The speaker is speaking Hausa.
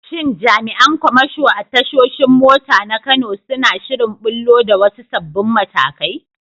Shin jami’an kamasho a tashoshin mota na Kano suna shirin ɓullo da wasu sabbin matakai?